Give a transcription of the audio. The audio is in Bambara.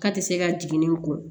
K'a tɛ se ka jiginni ko ye